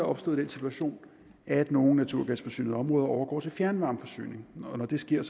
opstået den situation at nogle naturgasforsynede områder overgår til fjernvarmeforsyning og når det sker